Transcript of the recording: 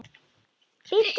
Bíddu við.